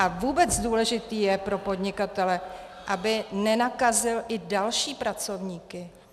A vůbec důležité je pro podnikatele, aby nenakazil i další pracovníky.